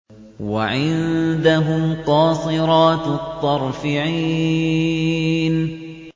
وَعِندَهُمْ قَاصِرَاتُ الطَّرْفِ عِينٌ